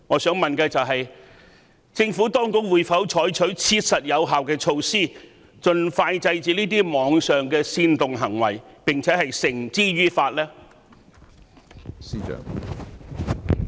請問政府當局會否採取切實有效的措施，盡快制止這類網上煽動暴力的行為，並將違法者繩之於法呢？